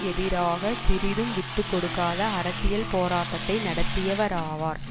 எதிராக சிறிதும் விட்டு கொடுக்காத அரசியல் போராட்டத்தை நடத்தியவராவார்